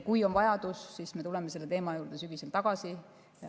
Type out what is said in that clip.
Kui tekib vajadus, siis me tuleme selle teema juurde sügisel tagasi.